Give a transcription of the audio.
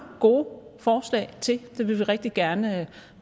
gode forslag til det vil vi rigtig gerne